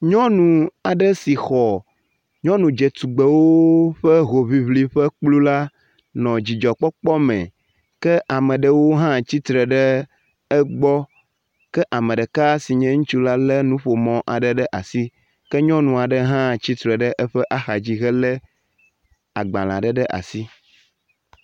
Nyɔnu aɖe si xɔ nyɔnu dze tugbewo ƒe hoʋiʋli ƒe kplu la nɔ dzidzɔkpɔkpɔ me ke ameɖewo hã tsitre ɖe egbɔ ke ameɖeka sinye ŋutsu la le nuƒomɔ aɖe ɖe asi. Ke nyɔnu aɖe hã tsitre ɖe eƒe axadzi he le agbalẽ aɖe ɖe asi.